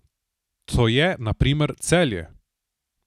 To je na primer Celje.